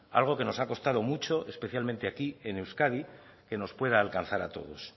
algo que nos ha costado mucho especialmente aquí en euskadi que nos pueda alcanzar a todos